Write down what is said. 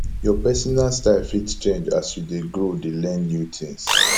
your personal style fit change as you dey grow dey learn new things